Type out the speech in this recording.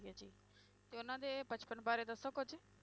ਜੀ ਤੇ ਉਹਨਾਂ ਦੇ ਬਚਪਨ ਬਾਰੇ ਦੱਸੋ ਕੁੱਝ।